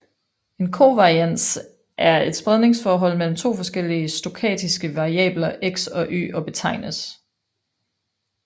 En kovarians er et spredningsforhold mellem to forskellige stokastiske variabler X og Y og betegnes